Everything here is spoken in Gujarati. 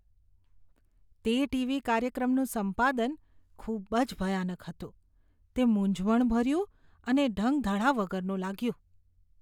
તે ટી.વી. કાર્યક્રમનું સંપાદન ખૂબ જ ભયાનક હતું. તે મૂંઝવણભર્યું અને ઢંગધડા વગરનું લાગ્યું.